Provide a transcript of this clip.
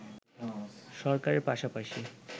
সরকারের পাশাপাশি